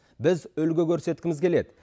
біз үлгі көрсеткіміз келеді